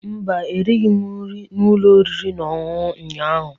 Mba, erighị m nri n'ụlọ oriri na ọṅụṅụ ụnyahụ.